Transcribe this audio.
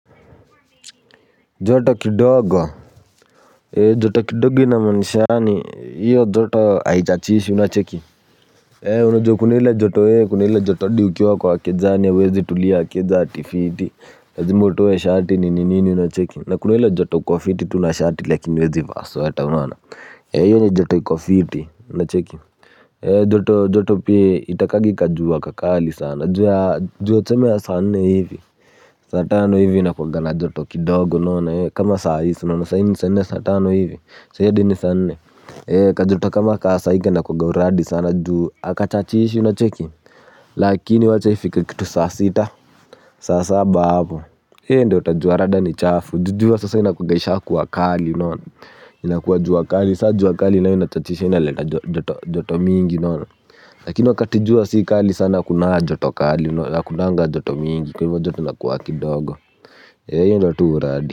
Joto kidogo. Joto kidogo ina maanisha ni hiyo joto aichachishi unacheki. Unajoto kunile joto eh kunile joto diukioa kwa akezaani ya wezi tulia akeza ati fiti Azimbo towe shati ni ninini unacheki na kunile joto kuwa fiti tunashati lakini wezi vaso ata wana. E hiyo ni joto kwa fiti unacheki. Joto joto pia itakagi kajua kakali sana jua chomea saa nne hivi saa tano hivi inakuga na joto kidogo nona kama saisi nona saini ni saa ne saa tano hivi sai adi ni sane kajoto kama kasa hiki inakuaga na uradi sana juu akachachishi inacheki lakini acha ifike kitu saa sita sasa hapo he ndo utajua rada ni chafu jujua sasa inakuganisha kuwakali nona inakujua kali saa juwakali inachishi inaleta joto mingi nona lakini wakati jua si kali sana akunaa joto kali nona akunanga joto mingi kwa hivyo joto nakuwa kidogo ya yun do tu uradi.